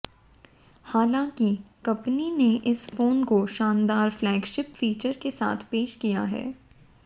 हालांकि कंपनी ने इस फोन को शानदार फ्लैगशिप फीचर के साथ पेश किया है